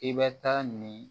I bɛ taa nin